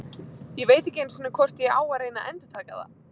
Ég veit ekki einu sinni hvort ég á að reyna að endurtaka það.